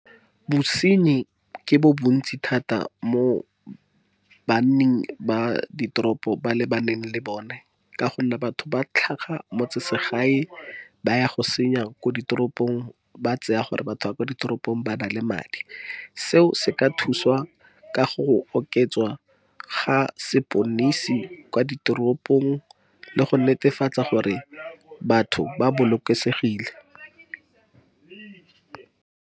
Bosenyi ke bo bontsi thata mo ba nning ba di toropo, ba le baneng le bone. Ka gonne batho ba tlhaga motse se gae, ba ya go senya ko di toropong, ba tseya gore batho ba kwa di toropong bana le madi. Seo se ka thuswa ka go o ke tswa ga seponisi kwa di toropong, le go netefatsa gore batho ba bolokesegile.